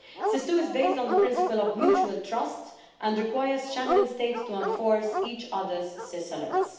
SIS II is based on the principle of mutual trust and requires Schengen states to enforce each other's SIS alerts.